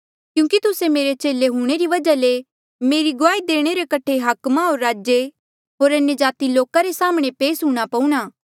क्यूंकि तुस्से मेरे चेले हूंणे री वजहा ले मेरी गुआही देणे रे कठे हाकमा होर राजे होर अन्यजाति लोका रे साम्हणें पेस हूंणां पऊणा